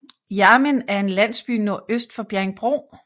Hjermind er en landsby nordøst for Bjerringbro